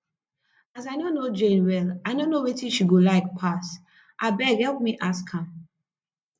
as i no know jane well i no know wetin she go like pass abeg help me ask am